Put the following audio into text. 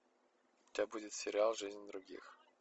у тебя будет сериал жизнь других